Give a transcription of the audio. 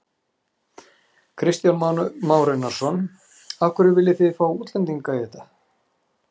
Kristján Már Unnarsson: Af hverju viljið þið fá útlendinga í þetta?